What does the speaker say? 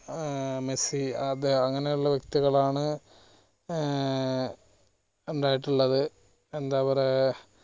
ഏർ Messi അത് അങ്ങനെയുള്ള ഏർ ഇണ്ടായിട്ടുള്ളത് എന്താ പറയാ